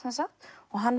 og hann